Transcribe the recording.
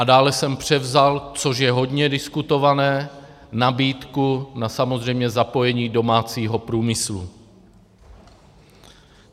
A dále jsem převzal, což je hodně diskutované, nabídku na samozřejmě zapojení domácího průmyslu.